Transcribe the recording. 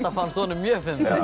fannst honum mjög